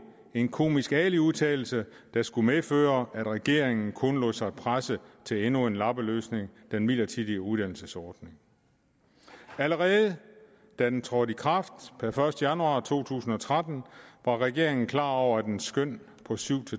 en komisk ali udtalelse der skulle medføre at regeringen kun lod sig presse til endnu en lappeløsning den midlertidige uddannelsesordning allerede da den trådte i kraft per første januar to tusind og tretten var regeringen klar over at dens skøn på syv